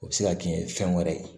O bɛ se ka kɛ fɛn wɛrɛ ye